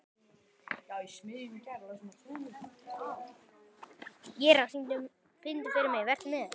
Ýrar, syngdu fyrir mig „Vertu með“.